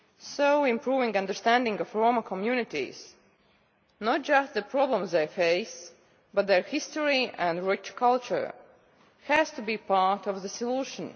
So improving understanding of Roma communities, not just of the problems they face, but also of their history and rich culture, has to be part of the solution.